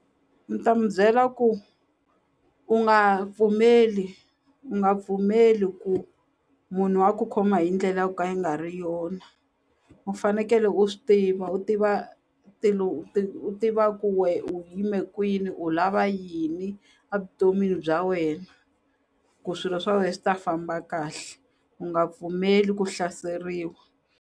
Ni ta mi byela ku u nga pfumeli u nga pfumeli ku munhu a ku khoma hi ndlela ya ku ka yi nga ri yona u fanekele u swi tiva u tiva u tiva ku we u yime kwini u lava yini a vuton'wini bya wena ku swilo swa we swi ta famba kahle u nga pfumeli ku hlaseriwa.